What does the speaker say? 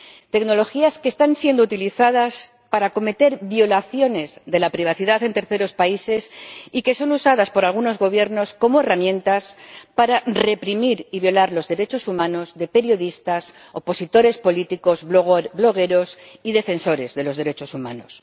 Tecnologías que están siendo utilizadas para cometer violaciones de la privacidad en terceros países y que son usadas por algunos Gobiernos como herramientas para reprimir y violar los derechos humanos de periodistas, opositores políticos, blogueros y defensores de los derechos humanos.